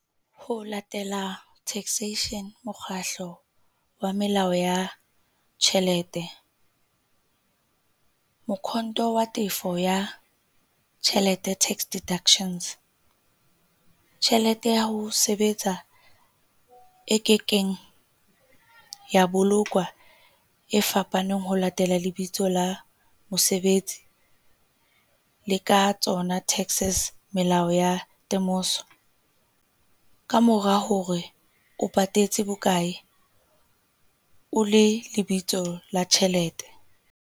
Ho latela taxation mokgahlo wa melao ya tjhelete. Mokhonto wa tefo ya tjhelete tax deductions. Tjhelete ya ho sebetsa e kekeng ya bolokwa e fapaneng ho latela lebitso la mosebetsi, le ka tsona taxes melao ya temoso kamora hore o patetse bokae o le lebitso la tjhelete.